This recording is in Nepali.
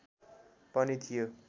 पनि थियो